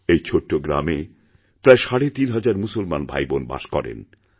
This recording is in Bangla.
এই ছোট গ্রামে প্রায় সাড়ে তিনি হাজার মুসলমান ভাইবোন বাসকরেন